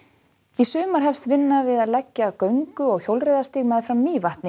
í sumar hefst vinna við að leggja göngu og hjólreiðastíg meðfram Mývatni